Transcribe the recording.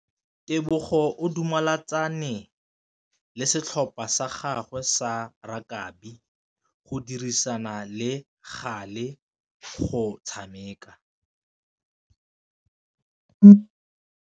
Tebogô o dumeletse setlhopha sa gagwe sa rakabi go dirisa le galê go tshameka.